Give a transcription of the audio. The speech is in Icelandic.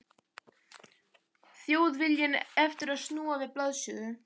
Þjóðviljinn eftir að snúa við blaðinu.